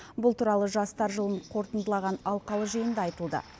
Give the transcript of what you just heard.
бұл туралы жастар жылын қорытындылаған алқалы жиында айтылды